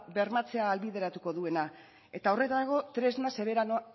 bermatzea ahalbideratuko duena eta horretarako tresna